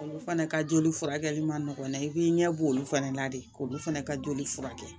Olu fana ka joli furakɛli man nɔgɔ dɛ i b'i ɲɛ b'olu fɛnɛ la de k'olu fana ka joli furakɛ